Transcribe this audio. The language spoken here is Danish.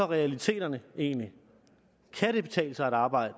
realiteterne så egentlig kan det betale sig at arbejde